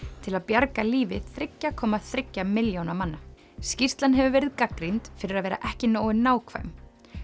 til að bjarga lífi þriggja komma þriggja milljóna manna skýrslan hefur verið gagnrýnd fyrir að vera ekki nógu nákvæm